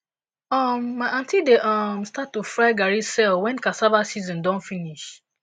um my aunty dey um start to fry garri sell wen cassava season don finish